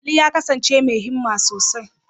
Ali ya kasance mai himma sosai.